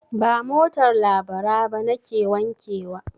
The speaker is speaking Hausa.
Ba motar Labara ba nake wankewa.